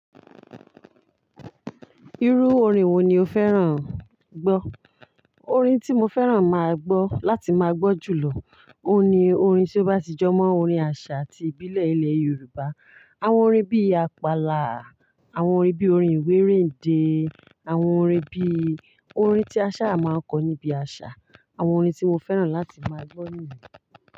Irú orin wo ni o fẹ́ràn gbọ́? Orin tí mo fẹ́ràn máa gbọ́ láti máa gbọ́ jù lọ, òun ni orin tí ó bá ti jọ mọ́ orin àṣà ati ìbílẹ̀ ilẹ̀ Yorùbá. Àwọn orin bí Àpàlà, àwọn orin bí orin ìwérendé, àwọn orin bí, orin tí a ṣà máa ń kọ níbi àṣà, àwọn orin tí mo fẹ́ràn láti máa gbọ́ nìyẹn.